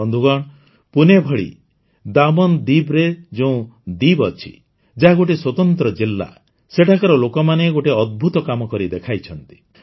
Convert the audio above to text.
ବନ୍ଧୁଗଣ ପୁନେ ଭଳି ଦାମନ୍ଦୀବ୍ରେ ଯେଉଁ ଦୀବ୍ ଅଛି ଯାହା ଗୋଟିଏ ସ୍ୱତନ୍ତ୍ର ଜିଲ୍ଲା ସେଠାକାର ଲୋକମାନେ ଗୋଟିଏ ଅଦ୍ଭୁତ କାମ କରି ଦେଖାଇଛନ୍ତି